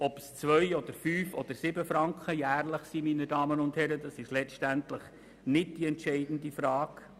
Ob es 2 oder 5 oder 7 Mio. Franken pro Jahr sind, ist letztendlich nicht die entscheidende Frage.